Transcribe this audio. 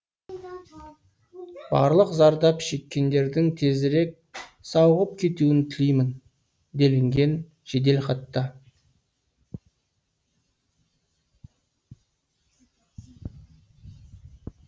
барлық зардап шеккендердің тезірек сауығып кетуін тілеймін делінген жеделхатта